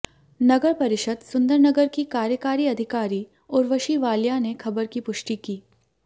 नगर परिषद सुंदरनगर की कार्यकारी अधिकारी उर्वशी वालिया ने खबर की पुष्टि की